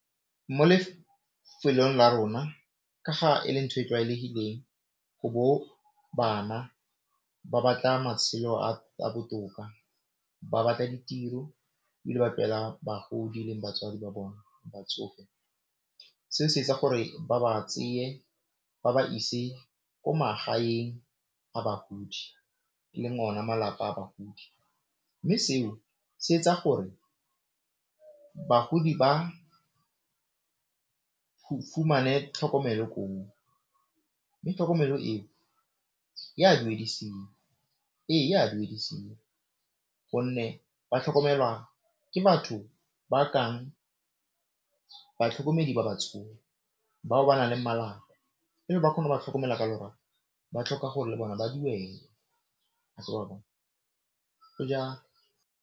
Mo lefelong la rona ka ga e le ntho e tlwaelegileng go bo bana ba batla matshelo a a botoka, ba batla ditiro bagodi le batswadi ba bona se se etsa gore ba ba tseye ba ba ise ko magaeng a bagodi e leng ona malapa a bagodi mme seo se etsa gore bagodi ba fumane tlhokomelo, mme tlhokomelo e, ea duedisiwang gonne ba tlhokomelwa ke batho ba ka batlhokomedi ba batsofe, bao ba naleng malapa ba tlhoka gore le bona ba dumele